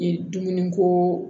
Dumuni ko